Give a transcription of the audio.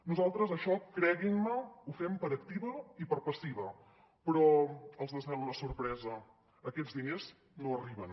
nosaltres això creguin me ho fem per activa i per passiva però els desvelo la sorpresa aquests diners no arriben